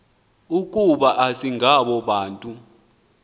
ukuba asingabo nabantu